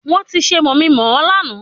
Wọn ti ṣe mọ̀mi ń mọ̀ ọ́ láàná